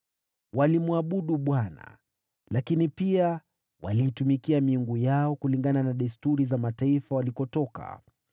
Walimwabudu Bwana , lakini pia waliitumikia miungu yao kulingana na desturi za mataifa walikotoka.